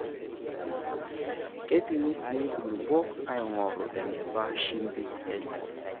Keipimi sii nkulupuok aing'oru eneba shimbi enye.